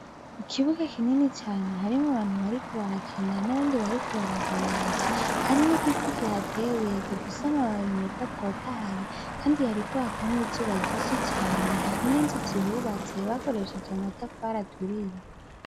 Ikibuga kinini cane harimwo abantu bariko barakina n'abandi bariko bararorera. Hari n'igiti kihateye gifise amababi meza atotahaye Kandi hariko haka n'izuba ryinshi cane hari n'inzu zihubatse bakoresheje amatafari aturiye.